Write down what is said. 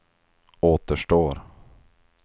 återstår